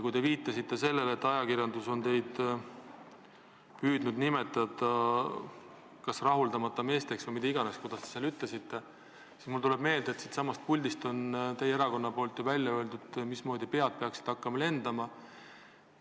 Kui teie viitasite sellele, et ajakirjandus on püüdnud teid nimetada kas rahuldamata meesteks või kelleks iganes, kuidas te seda ütlesitegi, siis mulle tuleb meelde, et siitsamast puldist on teie erakonna nimel ju välja öeldud, et pead peaksid hakkama lendama.